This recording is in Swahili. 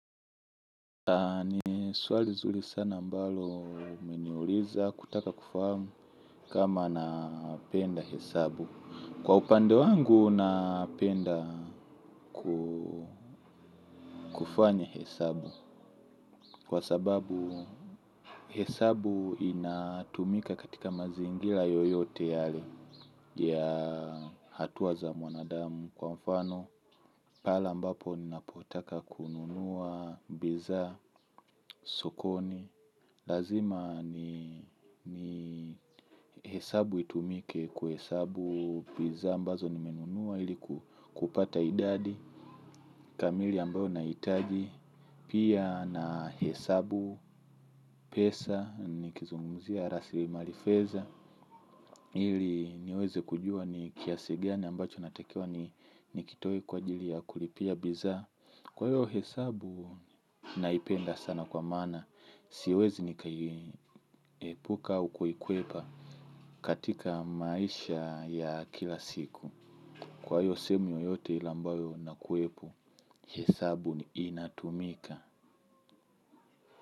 Ni swali zuri sana ambalo nimeuliza kutaka kufahamu kama napenda hesabu. Kwa upande wangu napenda kufanya hesabu kwa sababu hesabu inatumika katika mazingira yoyote yale ya hatua za mwanadamu. Kwa mfano pala ambapo ninapotaka kununua, bidhaa, sokoni. Lazima ni hesabu itumike kuhesabu bidhaa ambazo nimenunua ili kupata idadi kamili ambayo nahitaji. Pia nahesabu pesa nikizungumzia rasilimali fedha ili niweze kujua ni kiasi gani ambacho natakiwa nikitoe kwa ajili ya kulipia bidhaa. Kwa hivyo hesabu naipenda sana kwa maana. Siwezi nikaepuka au kuikwepa katika maisha ya kila siku. Kwa hiyo sehemu yoyote ile ambayo unakuwepo hesabu inatumika.